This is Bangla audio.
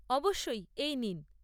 অবশ্যই, এই নিন।